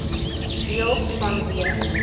deels vanweë